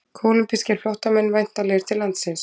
Kólumbískir flóttamenn væntanlegir til landsins